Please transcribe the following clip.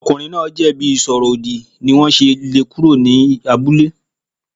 Ọkùnrin náà jẹ̀bi ìsọ̀rọ̀-ọ̀dì sí ni wọ́n sì lé e kúrò ní abúlé.